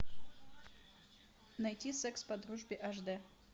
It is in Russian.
найти секс по дружбе ашдэ